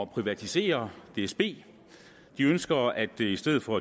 privatisere dsb de ønsker at i stedet for